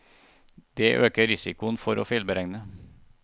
Det øker risikoen for å feilberegne.